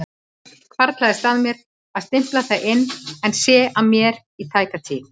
Snöggvast hvarflar að mér að stimpla það inn en sé að mér í tæka tíð.